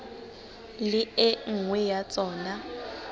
le e nngwe ya tsona